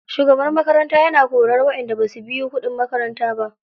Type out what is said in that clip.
Shugaban makaranta yana korar waƴanda basu biyu kuɗin makaranta ba.